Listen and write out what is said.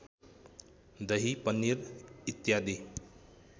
दही पनिर इत्यादि